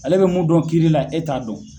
Ale bɛ mun dɔn kiiri la e t'a dɔn.